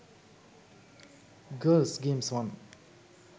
girls games 1